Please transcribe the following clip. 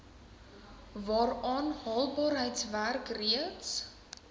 waaraan haalbaarheidswerk reeds